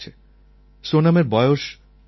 সোনমের বয়স নবছর